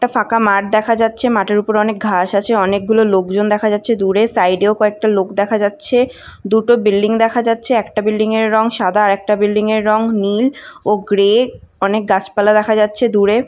একটা ফাঁকা মাঠ দেখা যাচ্ছে। মাটির উপর অনেক ঘাস আছে। অনেক গুলো লোকজন দেখা যাচ্ছে দূরে। সাইডেও কয়েকটা লোক দেখা যাচ্ছে। দুটো বিল্ডিং দেখা যাচ্ছে। একটা বিল্ডিং এর রং সাদা আর একটা বিল্ডিং এর রং নীল ও গ্রে । অনেক গাছপালা দেখা যাচ্ছে দূরে।